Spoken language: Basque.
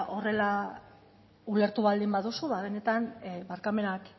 horrela ulertu baldin baduzu ba benetan barkamenak